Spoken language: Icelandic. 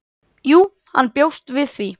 """Jú, hann bjóst við því."""